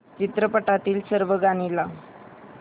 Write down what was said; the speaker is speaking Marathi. चित्रपटातील सर्व गाणी लाव